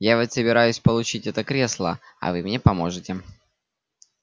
я вот собираюсь получить это кресло а вы мне поможете